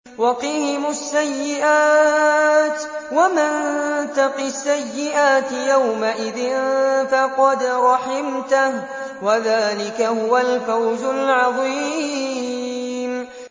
وَقِهِمُ السَّيِّئَاتِ ۚ وَمَن تَقِ السَّيِّئَاتِ يَوْمَئِذٍ فَقَدْ رَحِمْتَهُ ۚ وَذَٰلِكَ هُوَ الْفَوْزُ الْعَظِيمُ